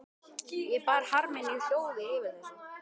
Ég bar harm minn í hljóði yfir þessu.